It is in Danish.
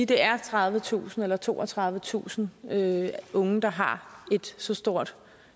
det er tredivetusind eller toogtredivetusind unge der har et så stort